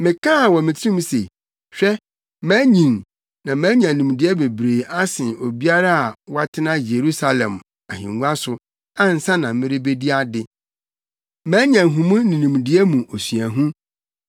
Mekaa wɔ me tirim se, “Hwɛ, manyin na manya nimdeɛ bebree asen obiara a watena Yerusalem ahengua so ansa na merebedi ade. Manya nhumu ne nimdeɛ mu osuahu.”